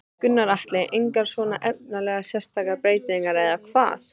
Gunnar Atli: Engar svona efnislegar sérstakar breytingar eða hvað?